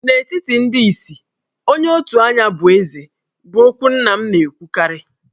N'etiti ndị isi, onye otu anya bụ Eze' bụ okwu nna m na-ekwukarị.